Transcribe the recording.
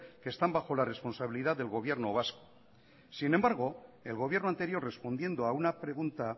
que están bajo la responsabilidad del gobierno vasco sin embargo el gobierno anterior respondiendo a una pregunta